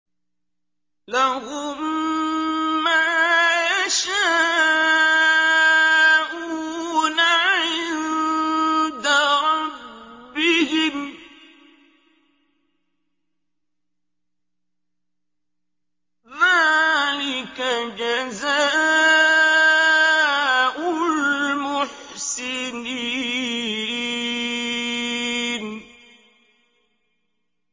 لَهُم مَّا يَشَاءُونَ عِندَ رَبِّهِمْ ۚ ذَٰلِكَ جَزَاءُ الْمُحْسِنِينَ